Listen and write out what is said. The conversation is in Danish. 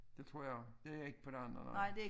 Det tror jeg og det ikke på den eller